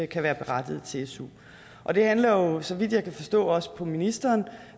kan være berettiget til su og det handler jo så vidt jeg kan forstå også på ministeren